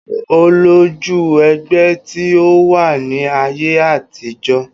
Olójú ẹgbẹ́ tí ó wà ní ayé àtijọ́